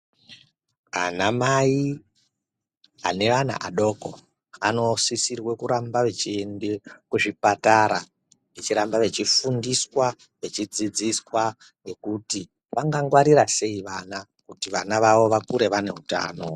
Anamai anevana adoko anosisirwe kuramba veiende kuzvipatara vechiramba vechifundiswa, vechidzidziswa nekuti vangangwarira sei vana kuti vana vavo vakure vaine hutano.